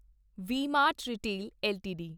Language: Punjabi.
we Mart retail LTD